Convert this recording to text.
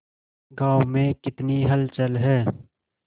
गांव में कितनी हलचल है